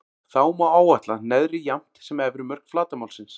Þá má áætla neðri jafnt sem efri mörk flatarmálsins.